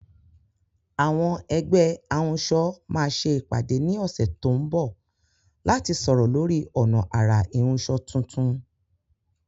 Àwọn ẹgbẹ́ ahunṣọ máa ṣe ìpàdé ní ọ̀sẹ̀ tó ń bọ̀ láti sọ̀rọ̀ lórí ọ̀nà àrà ìhunṣọ tuntun.